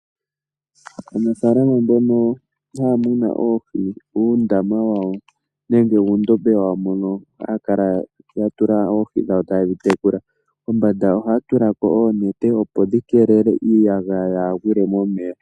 Aanafaalama mbono haya munu oohi muundama wawo nenge muudhiya wawo mono haya kala ya tula oohi dhawo ta yedhi tekula kombanda ohaya tula ko oonete, opo dhi keelele iiyagaya kayi gwile momeya.